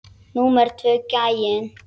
Númer tvö gæinn.